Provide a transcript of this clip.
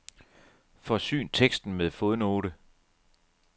Forsyn teksten med fodnote.